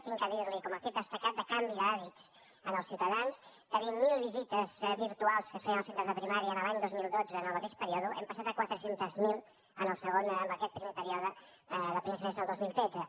he de dir li com a fet destacat de canvi d’hàbits en els ciutadans de vint miler visites virtuals que es feien en els centres de primària l’any dos mil dotze en el mateix període hem passat a quatre cents miler en aquest primer període del primer semestre del dos mil tretze